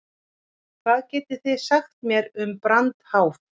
Hvað getið þið sagt mér um brandháf?